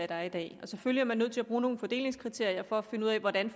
der er i dag selvfølgelig er man nødt til at bruge nogle fordelingskriterier for at finde ud af hvordan